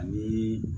Ani